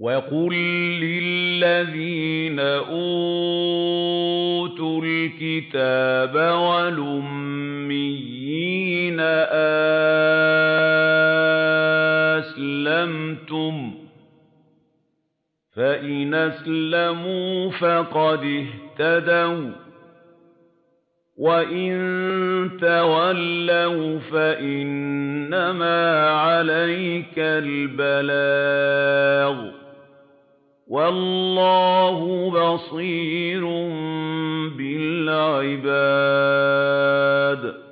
وَقُل لِّلَّذِينَ أُوتُوا الْكِتَابَ وَالْأُمِّيِّينَ أَأَسْلَمْتُمْ ۚ فَإِنْ أَسْلَمُوا فَقَدِ اهْتَدَوا ۖ وَّإِن تَوَلَّوْا فَإِنَّمَا عَلَيْكَ الْبَلَاغُ ۗ وَاللَّهُ بَصِيرٌ بِالْعِبَادِ